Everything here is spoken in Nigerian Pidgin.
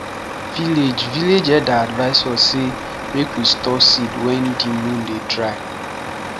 village village elder advise us say make we store seed wen di moon dey dry